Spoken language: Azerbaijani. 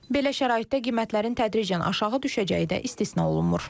Belə şəraitdə qiymətlərin tədricən aşağı düşəcəyi də istisna olunmur.